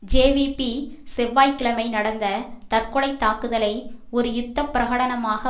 JVP செவ்வாய் கிழமை நடந்த தற்கொலை தாக்குதலை ஒரு யுத்த பிரகடனமாக